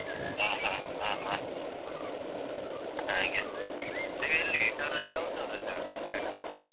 ಆ ಹ ಆ ಹ ಹಾಗೆ ನೀವ್ ಎಲ್ಲಿ indoor ಅಲ್ಲಿಯ outdoor ಅಲ್ಲಿಯ ಆಡುದು badminton ?